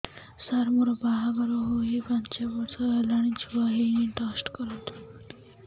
ସାର ମୋର ବାହାଘର ହେଇ ପାଞ୍ଚ ବର୍ଷ ହେଲାନି ଛୁଆ ହେଇନି ଟେଷ୍ଟ କରନ୍ତୁ